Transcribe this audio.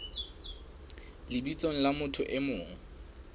lebitsong la motho e mong